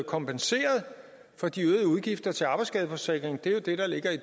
kompenseret for de øgede udgifter til arbejdsskadeforsikring det er jo det der ligger i